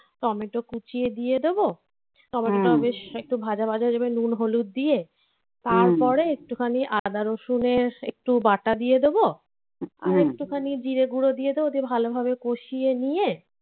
tomato কুচিয়ে দিয়ে দেবো বেশ একটু ভাজা ভাজা দেবে নুন হলুদ দিয়ে তারপরে একটুখানি আদা রসুনের একটু বাটা দিয়ে দেবো আর একটুখানি জিরে গুঁড়ো দিয়ে দেবো ও দিয়ে ভালোভাবে কষিয়ে নিয়ে হুম